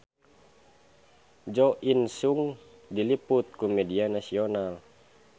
Jo In Sung diliput ku media nasional